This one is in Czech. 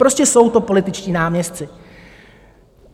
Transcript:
Prostě jsou to političtí náměstci.